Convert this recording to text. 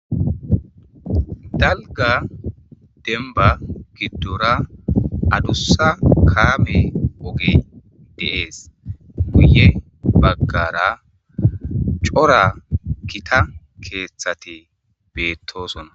Dalga demba giddora adussa kaame ogey de7ees guye baggara cora kita keeththate beettosonna.